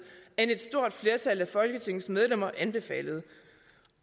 end et stort flertal af folketingets medlemmer anbefalede